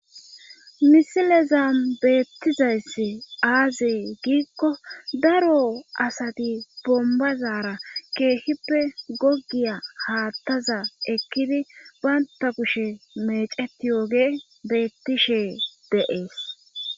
misileza beettizayssi aazi giikko daro asati bombazaara keeshippe gogiya haattaza ekkidi baynta kushe meceti yooge beettishe deees